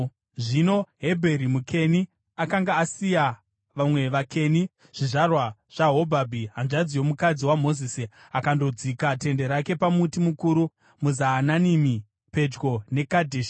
Zvino Hebheri muKeni akanga asiya vamwe vaKeni, zvizvarwa zvaHobhabhi, hanzvadzi yomukadzi waMozisi akandodzika tende rake pamuti mukuru muZaananimi pedyo neKadheshi.